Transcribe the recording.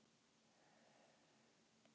"""Nei, góða mín."""